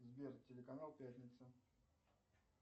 сбер телеканал пятница